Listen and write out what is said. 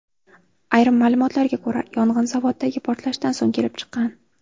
Ayrim ma’lumotlarga ko‘ra, yong‘in zavoddagi portlashdan so‘ng kelib chiqqan.